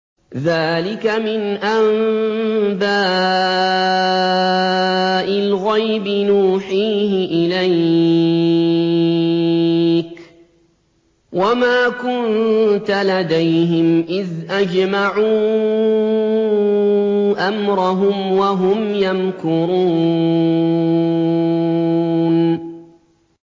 ذَٰلِكَ مِنْ أَنبَاءِ الْغَيْبِ نُوحِيهِ إِلَيْكَ ۖ وَمَا كُنتَ لَدَيْهِمْ إِذْ أَجْمَعُوا أَمْرَهُمْ وَهُمْ يَمْكُرُونَ